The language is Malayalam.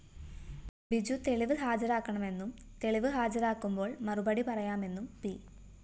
ബിജു തെളിവ് ഹാജരാക്കണമെന്നും തെളിവ് ഹാജരാക്കുമ്പോള്‍ മറുപടി പറയാമെന്നും പി